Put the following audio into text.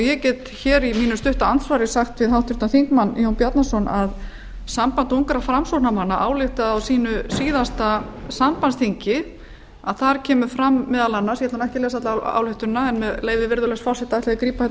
ég get hér í mínu stutta andsvari sagt við háttvirtur þingmaður jón bjarnason að samband ungra framsóknarmanna ályktaði á sínu síðasta sambandsþingi að þar kemur fram meðal annars ég ætla nú ekki að lesa alla ályktunina en með leyfi virðulegs forseta ætla ég að grípa hérna niður